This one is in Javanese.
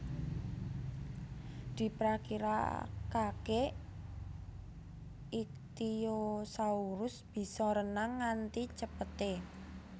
Diprakirakakè ichthyosaurus bisa renang nganti cepetè